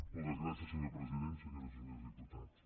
moltes gràcies senyor president senyores i senyors diputats